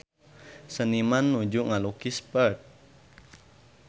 Seniman nuju ngalukis Perth